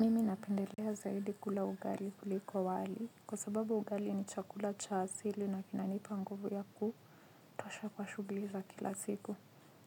Mimi napendelea zaidi kula ugali kuliko wali kwa sababu ugali ni chakula cha asili na kinanipa nguvu ya kutosha kwa shughuli za kila siku.